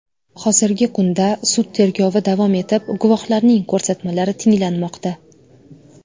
Hozirgi kunda sud tergovi davom etib, guvohlarning ko‘rsatmalari tinglanmoqda.